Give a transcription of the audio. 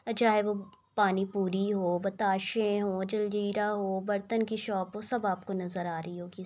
चाहे वो पानीपुरी हो बताशे हो जलजीरा हो बर्तन की शॉप हो सब आपको नज़र आ रही होगी।